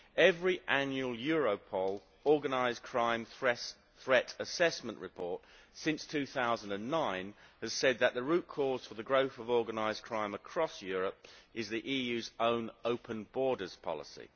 Every annual Europol organised crime threat assessment report since 2009 has said that the root cause for the growth of organised crime across Europe is the EU's own open borders policy.